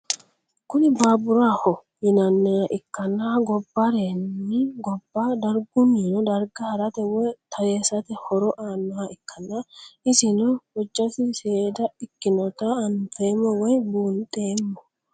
Kuni baburaho yinaniha ikanna gobarenni goba darigunino darga harate woyi taresate horo aanoha ikana isino hojasi seeda ikinota anfemo woyi bunxemo